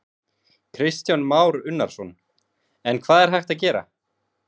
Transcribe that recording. Kristján Már Unnarsson: En hvað er hægt að gera?